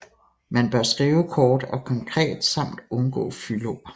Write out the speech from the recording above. Man bør skrive kort og konkret samt undgå fyldord